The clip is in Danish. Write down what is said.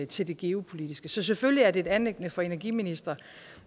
til det geopolitiske så selvfølgelig er det et anliggende for energiministrene